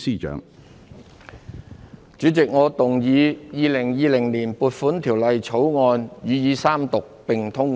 主席，我動議《2020年撥款條例草案》予以三讀並通過。